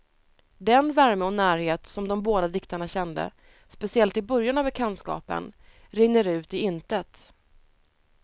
Den värme och närhet som de båda diktarna kände, speciellt i början av bekantskapen, rinner ut i intet.